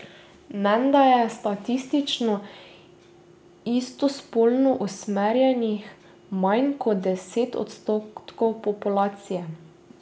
Menda je statistično istospolno usmerjenih manj kot deset odstotkov populacije.